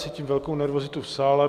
Cítím velkou nervozitu v sále.